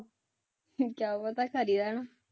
ਕਿਆ ਪਤਾ ਘਰੇ ਰਹਿਣ